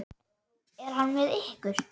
Er hann með ykkur?